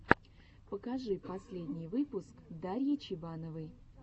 покажи последний выпуск дарьи чебановой